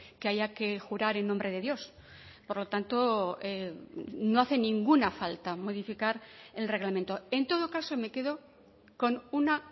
que haya que jurar en nombre de dios por lo tanto no hace ninguna falta modificar el reglamento en todo caso me quedo con una